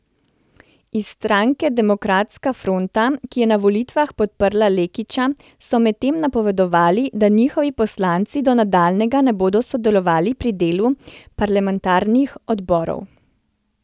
Iz stranke Demokratska fronta, ki je na volitvah podprla Lekića, so medtem napovedali, da njihovi poslanci do nadaljnjega ne bodo sodelovali pri delu parlamentarnih odborov.